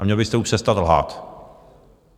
A měl byste už přestat lhát.